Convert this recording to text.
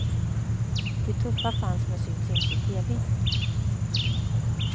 Det tuffa fanns men syns inte i tv.